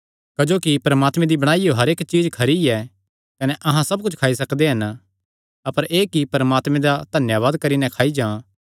क्जोकि परमात्मे दी बणाईयो हर इक्क चीज्ज खरी ऐ कने अहां सब कुच्छ खाई सकदे हन अपर एह़ कि परमात्मे दा धन्यावाद करी नैं खादी जां